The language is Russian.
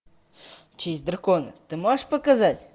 честь дракона ты можешь показать